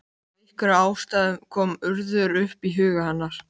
Af einhverjum ástæðum kom Urður upp í huga hennar.